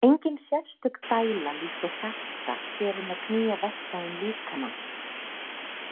Engin sérstök dæla líkt og hjarta sér um að knýja vessa um líkamann.